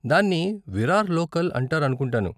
దాన్ని విరార్ లోకల్ అంటారనుకుంటాను.